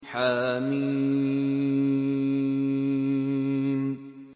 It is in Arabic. حم